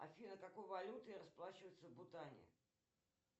афина какой валютой расплачиваются в бутане